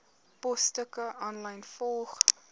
posstukke aanlyn volg